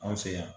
An fɛ yan